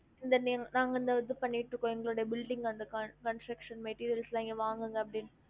இந்த name நாங்க இந்த இது பன்னிட்டு இருக்கோம் எங்களுடைய building con~ construction material லாம் இங்க வாங்குங்க அப்டின்னு